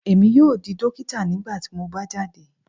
Emi yoo di dokita nigbati mo ba jade